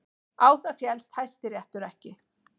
Á það féllst Hæstiréttur ekki